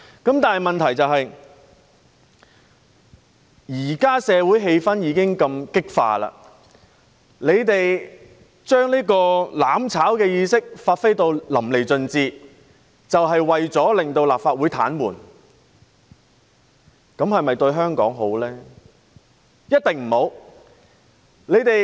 不過，問題是，社會現時如此激化，他們將"攬炒"意識發揮得淋漓盡致，意圖癱瘓立法會，這對香港是否好事呢？